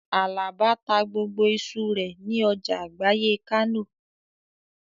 Àlàbá ta gbogbo iṣu rẹ̀ ní ọjà àgbáyé Kánò